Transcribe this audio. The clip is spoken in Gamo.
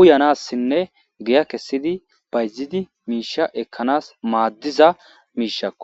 uyanassinne giya kessidi bayzidi miisha ekkanas maaddiza miishakko